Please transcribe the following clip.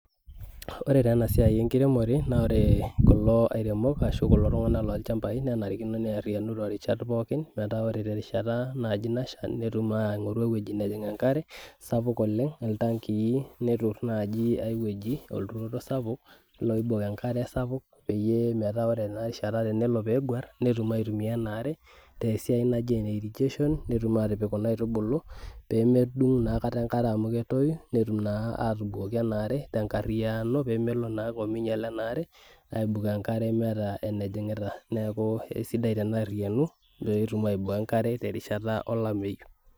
ore taa ena siai enkiremore naa ore kulo airemok ashu kulo tung'anak lolchambai nenarikino nearriyianu torishat pookin metaa ore terishata naaji nasha netum aing'oru ewueji nejing enkare sapuk oleng iltankii neturr naaji ae wueji olturoto sapuk loibok enkare sapuk peyie metaa ore tenarishata peyie tenelo peeguarr netum aitumia ena are tesiai naji ene irrigation netum atipik kuna aitubulu pemedung naa aikata enkare amu ketoyu netum naa atubukoki ena are tenkarriyiano pemelo naake ominyiala ena are aibukoo enkare meeta enejing'ita neeku esidai tenearriyianu pekitum aiboo enkare terishata olameyu.